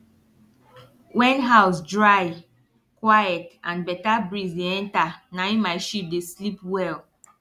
wen house dry quiet and better breeze dey enter naim my sheep dey sleep well